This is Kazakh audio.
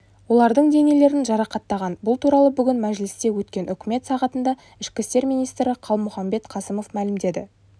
олардың денелерін жарақаттаған бұл туралы бүгін мәжілісте өткен үкімет сағатында ішкі істер министрі қалмұханбет қасымов мәлімдеді